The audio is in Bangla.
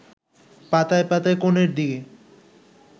পাতায় পাতায় কোণের দিকে